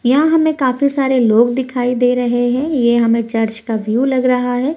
यहाँ हमें काफी सारे लोग दिखाई दे रहे हैं ये हमे चर्च का व्यू लग रहा है।